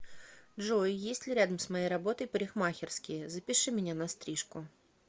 джой есть ли рядом с моей работой парикмахерские запиши меня на стрижку